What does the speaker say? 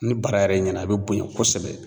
Ni bara yɛrɛ ɲɛna a bɛ bonɲɛ kosɛbɛ.